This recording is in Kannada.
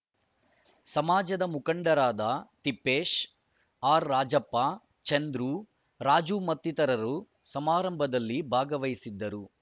ಸಮಾಜದ ಮುಖಂಡರಾದ ತಿಪ್ಪೇಶ್‌ ಆರ್‌ರಾಜಪ್ಪ ಚಂದ್ರು ರಾಜು ಮತ್ತಿತರರು ಸಮಾರಂಭದಲ್ಲಿ ಭಾಗವಹಿಸಿದ್ದರು